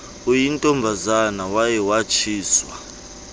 uyintombazana waye watshiswa